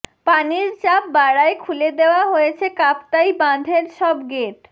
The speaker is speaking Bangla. পানির চাপ বাড়ায় খুলে দেওয়া হয়েছে কাপ্তাই বাঁধের সব গেট